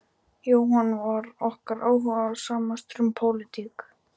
Jóhann var okkar áhugasamastur um pólitík.